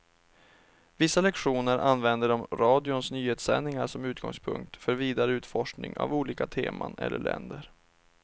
Vissa lektioner använder de radions nyhetssändningar som utgångspunkt för vidare utforskning av olika teman eller länder.